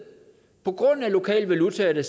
på grund af lokale valutaer der